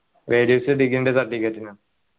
values degree ൻ്റെ certificate നാ